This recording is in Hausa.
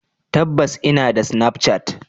Tabbas inada snapchat.